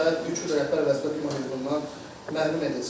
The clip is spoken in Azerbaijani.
Və 3 il rəhbər vəzifə tutmaq hüququndan məhrum edilsin.